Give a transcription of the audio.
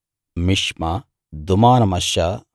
మిష్మా దూమానమశ్శా